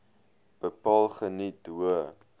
bepaal geniet hoë